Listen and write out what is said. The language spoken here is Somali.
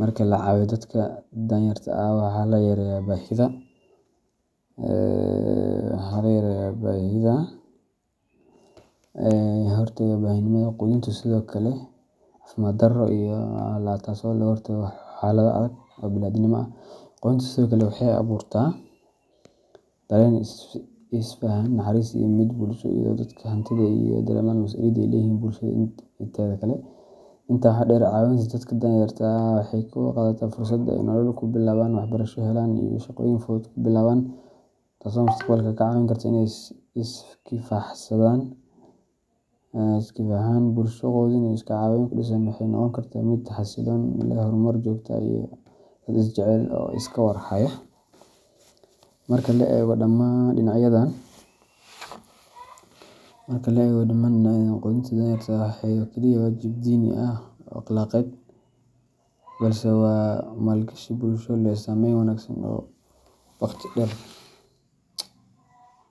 Marka la caawiyo dadka danyarta ah, waxaa la yareynayaa baahida aasaasiga ah sida gaajada, caafimaad darro, iyo hoy la’aanta, taasoo ka hortagta xaalado adag oo bini’aadantinimo. Qudintu sidoo kale waxay abuurtaa dareen isfahan, naxariis, iyo midnimo bulsho, iyadoo dadka hantida leh ay dareemaan mas’uuliyadda ay u leeyihiin bulshada inteeda kale. Intaa waxaa dheer, caawinta dadka danyarta ah waxay kor u qaadaysaa fursad ay nolol cusub ku bilaabaan, waxbarasho helaan, ama shaqooyin fudud ku bilaabaan, taasoo mustaqbalka ka caawin karta inay is-kifaaxaan. Bulsho quudin iyo iscaawin ku dhisan waxay noqon kartaa mid xasilloon, leh horumar joogto ah, iyo dad isjecel oo iska war haya. Marka la eego dhammaan dhinacyadan, qudinta danyarta ma aha oo kaliya waajib diini ah ama akhlaaqeed, balse waa maalgashi bulsho oo leh saameyn wanaagsan oo waqti dheer ah.